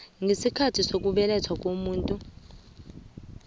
ngesikhathi sokubelethwa komuntu